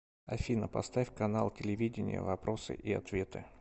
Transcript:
афина поставь канал телевидения вопросы и ответы